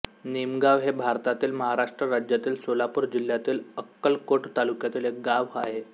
निमगाव हे भारतातील महाराष्ट्र राज्यातील सोलापूर जिल्ह्यातील अक्कलकोट तालुक्यातील एक गाव आहे